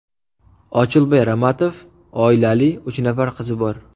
Ochilboy Ramatov oilali, uch nafar qizi bor.